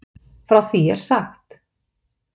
Frá því er sagt.